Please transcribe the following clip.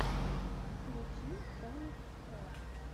включи тамик стар